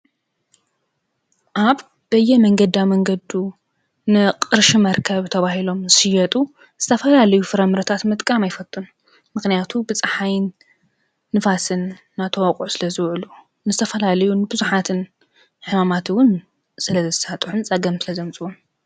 ኣስራሕ ሰብ ንህይወቱ ንምኽብካብ ዝገብሮ ተግባር እዩ። ብስራሕ ገንዘብ ይረክብን ክእለቱ ይደግፍን ይዳብርን። ስራሕ ንሕብረተሰብ ምዕባለ ዝሓግዝ እዩ።